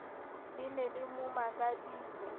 le ne le mo makaditse